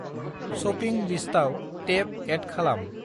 Shopping लिस्टाव टेब एद खालाम।